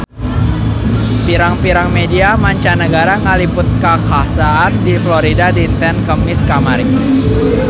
Pirang-pirang media mancanagara ngaliput kakhasan di Florida dinten Kemis kamari